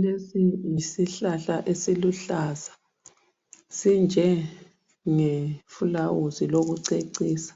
Lesi yisihlala esiluhlaza sinjenge filawuzi lokucecisa